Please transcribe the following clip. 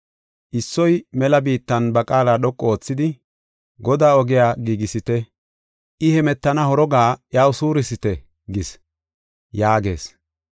Issoy mela biittan ba qaala dhoqu oothidi, ‘Godaa ogiya giigisite; I hemetana horoga iyaw suurisite gis’ ” yaagees.